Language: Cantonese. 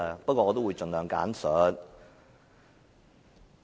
不過，我會盡量簡述。